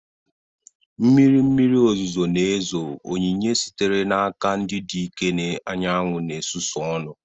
Mmiri mmiri ozuzo na-ezo, onyinye sitere n'aka ndị dike anyanwụ na-susu ọnụ.